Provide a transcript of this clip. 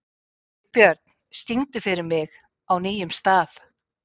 Vilbjörn, syngdu fyrir mig „Á nýjum stað“.